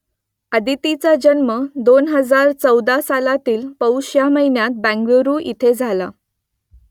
अदितीचा जन्म दोन हजार चौदा सालातील पौष ह्या महिन्यात बेंगलुरू इथे झाला